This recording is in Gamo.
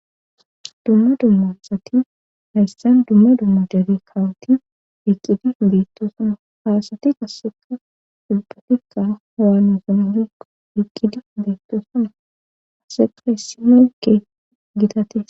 Dumma dummasati hayssan dumma dumma jare kawoti iqqidi beettoosana haasati qasseka ulbatikka howaanosononikqo eqqidi beettoosana aseka hissimeyke gitati.